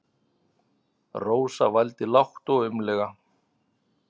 Rósa vældi lágt og aumlega.